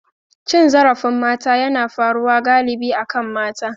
Cin zarafin mata yana faruwa galibi akan mata.